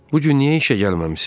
Bu gün niyə işə gəlməmisiz?